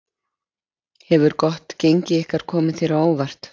Hefur gott gengi ykkar komið þér á óvart?